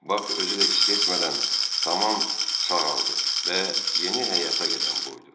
Bak özü də hiss etmədən tamam sağaldı və yeni həyata qədəm qoydu.